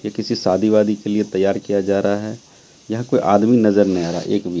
ये किसी शादी वादी के लिए तैयार किया जा रहा है यहां कोई आदमी नजर नहीं आ रहा एक भी--